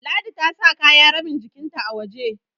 Ladi ta sa kaya rabin jikinta a waje